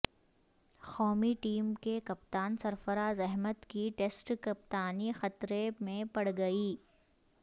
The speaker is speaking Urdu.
قومی ٹیم کے کپتان سرفراز احمد کی ٹیسٹ کپتانی خطرے میں پڑ گئی